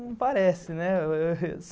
Não parece, né?